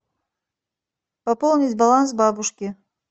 пополнить баланс бабушки